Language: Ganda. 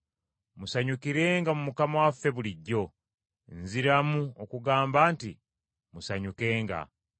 Musanyukirenga mu Mukama waffe bulijjo. Nziramu okubagamba nti musanyukenga.